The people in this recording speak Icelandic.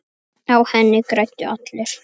Á henni græddu allir.